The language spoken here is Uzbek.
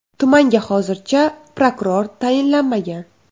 Tumanga hozircha prokuror tayinlanmagan.